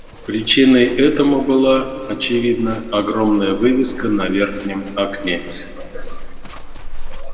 причиной этому была очевидно огромная вывеска на верхнем окне